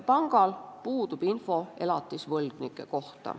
Pangal puudub info elatisvõlgnike kohta.